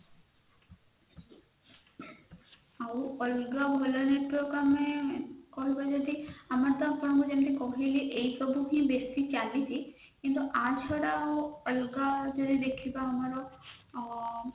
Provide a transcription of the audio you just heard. ଆଉ ଅଲଗା ଭଲ network ଆମେ କହିବା ଯଦି ଆମେ ଆପଣଙ୍କୁ ଯେମିତି କହିଲି ଏଇସବୁ ହି ବେଶୀ ଚାଲିଛି କିନ୍ତୁ ୟା ଛଡା ଆମେ ଯଦି ଅଲଗା ୟେ ରେ ଦେଖିବା ଆମର ଅ